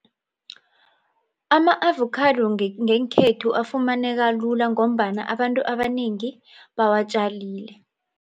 Ama-avokhado ngekhethu afumaneka lula ngombana abantu abanengi bawatjalile.